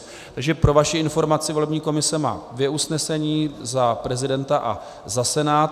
Takže pro vaši informaci, volební komise má dvě usnesení, za prezidenta a za Senát.